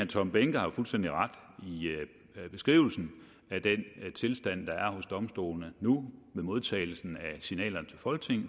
tom behnke har jo fuldstændig ret i beskrivelsen af den tilstand der er hos domstolene nu ved modtagelsen af signalerne